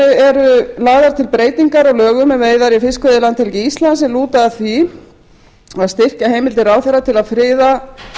frumvarpinu eru lagðar til breytingar á lögum um veiðar í fiskveiðilandhelgi íslands sem lúta að því að styrkja heimildir ráðherra til að friða